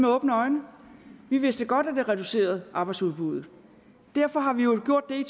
åbne øjne vi vidste godt at det reducerede arbejdsudbuddet derfor har vi jo gjort det